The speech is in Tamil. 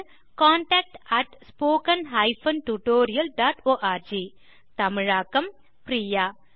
contact at spoken hyphen tutorial dot org தமிழாக்கம் பிரியா